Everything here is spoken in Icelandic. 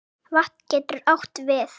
Vatn getur átt við